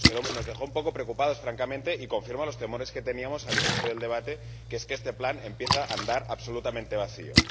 Nos dejó un poco preocupados, francamente, y confirma los temores que teníamos al inicio del debate, que es que este plan empieza a andar absolutamente vacío.